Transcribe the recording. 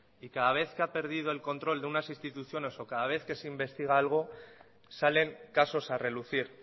y cada vez que ha perdido el control de unas instituciones o cada vez se investiga algo salen casos a relucir